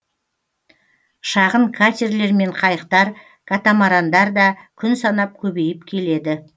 шағын катерлер мен қайықтар катамарандар да күн санап көбейіп келеді